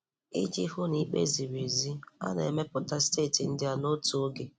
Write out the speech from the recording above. Iji hụ na ikpe ziri ezi, a na-emepụta steeti ndị a n'otu oge.